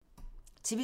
TV 2